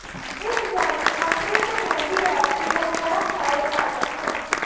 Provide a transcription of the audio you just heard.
ਇੱਕ ਜਾਨੀ ਅੰਕੜੇ ਨੂੰ ਕਹਿੰਦੀ ਹੈ ਕਿ ਉਹ ਬਹੁਤ ਸਾਰੇ ਘਾਤਕ ਹਨ